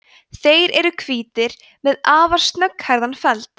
þeir eru hvítir með afar snögghærðan feld